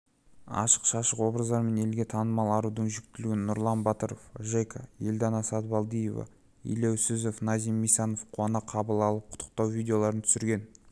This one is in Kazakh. ашық-шашық образдарымен елге танылған арудың жүктілігін нұрлан батыров жека елдана сатыбалдиева елеусізов назим мисанов қуана қабыл алып құттықтау видеоларын түсірген